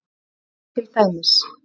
Sjáðu til dæmis